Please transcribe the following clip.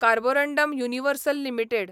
Carborundum Universal limited